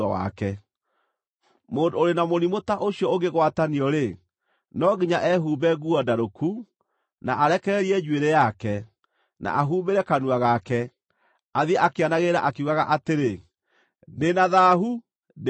“Mũndũ ũrĩ na mũrimũ ta ũcio ũngĩgwatanio-rĩ, no nginya ehumbe nguo ndarũku, na arekererie njuĩrĩ yake, na ahumbĩre kanua gake, athiĩ akĩanagĩrĩra akiugaga atĩrĩ, ‘Ndĩ na thaahu! Ndĩ na thaahu!’